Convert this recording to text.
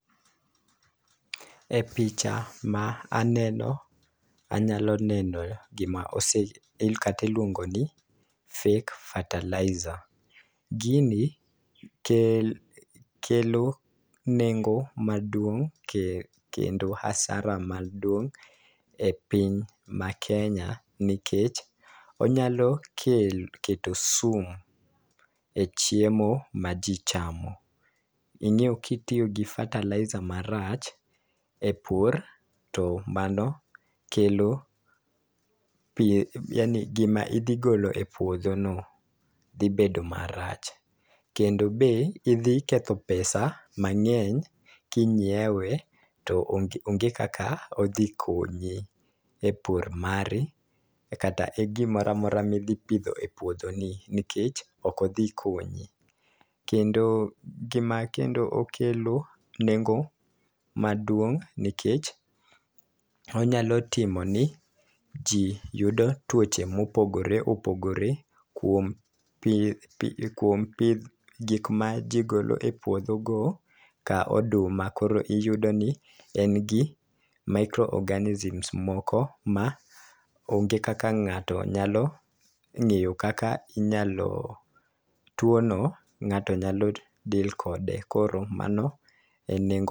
E picha ma aneno anyalo neno gima ose el kati luongo ni fake fertilizer. Gini kelo nengo maduong' kendo asara maduong' e piny ma Kenya nikech onyalo kelo keto sum e chiemo ma jii chamo. Ing'eyo kitiyo gi fertilizer marach e pur to mano kelo pi yaani gima idhi golo e puodho no dhi bedo marach kendo be idhi ketho pesa mang'eny kinyiewe to onge onge kaka odhi konyi e pur mari kata e gimoramora midhi pidho e puodho ni nikech ok odhi konyi. Kendo gima kendo okelo nengo maduong' nikech onyalo timoni jii yudo tuoche mopogore opogore kuom pith pi kuom pidh gik ma gigolo puodho ka oduma iyudo ni en gi micro organisms moko ma onge kak ng'ato nyalo ng'eyo kak inyalo tuo no ng'ato nyalo deal kode koro mano e nengo.